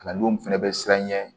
Kalandenw fɛnɛ bɛ siranɲɛ ɲɛ